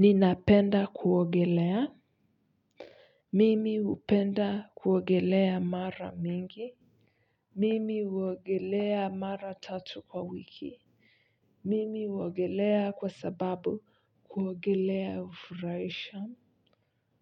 Ninapenda kuogelea mimi hupenda kuogelea mara mingi mimi uogelea mara tatu kwa wiki mimi huogelea kwa sababu kuogelea hufurahisha